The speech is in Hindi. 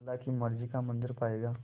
अल्लाह की मर्ज़ी का मंज़र पायेगा